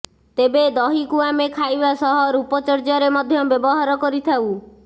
ତେବେ ଦହିକୁ ଆମେ ଖାଇବା ସହ ରୂପଚର୍ଯ୍ୟାରେ ମଧ୍ୟ ବ୍ୟବହାର କରିଥାଉ